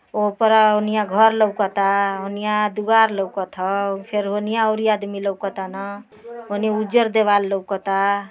ओपरा ओनिया घर लौकता ओनिया दुआर लौकत ह। फिर उनीया अउरी आदमी लौकतान। ओनिया उजर देवाल लौकता।